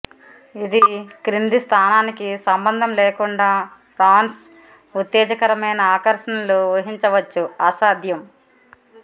ఇది క్రింది స్థానానికి సంబంధం లేకుండా ఫ్రాన్స్ ఉత్తేజకరమైన ఆకర్షణలు ఊహించవచ్చు అసాధ్యం